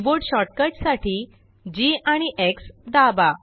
keyboard shortcut साठी Gआणि X दाबा